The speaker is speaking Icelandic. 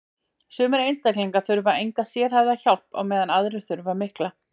Sumir einstaklingar þurfa enga sérhæfða hjálp á meðan aðrir þurfa mikla.